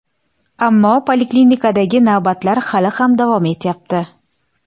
Ammo poliklinikadagi navbatlar hali ham davom etyapti.